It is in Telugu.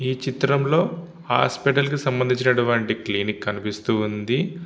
ఈ చిత్రంలో హాస్పిటల్ కి సంబంధించినటువంటి క్లినిక్ కనిపిస్తూ ఉంది.